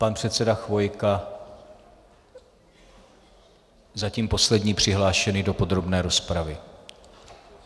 Pan předseda Chvojka, zatím poslední přihlášený do podrobné rozpravy.